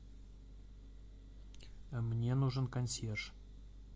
мне нужен консьерж